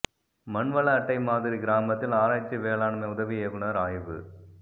மண்வள அட்டை மாதிரி கிராமத்தில் ஆராய்ச்சி வேளாண்மை உதவி இயக்குநா் ஆய்வு